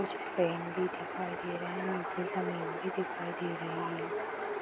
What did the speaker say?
कुछ पेन भी दिखाई दे रहे हैं निचे जमीन भी दिखाई दे रही हैं।